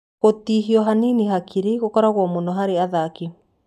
Gũtihio hanini hakiri gũkoragwo mũno harĩ athaki.